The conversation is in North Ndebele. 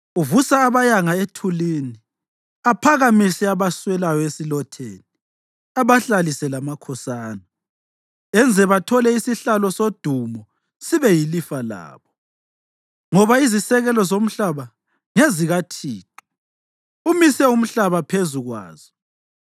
Uvusa abayanga ethulini aphakamise abaswelayo esilotheni; abahlalise lamakhosana. Enze bathole isihlalo sodumo sibe yilifa labo. Ngoba izisekelo zomhlaba ngezikaThixo; umise umhlaba phezu kwazo.